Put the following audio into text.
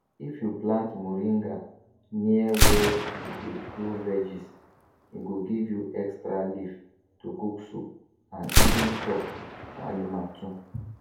if you plant moringa near where you dey grow veggies e go give you extra leaf to cook soup and even chop for animal too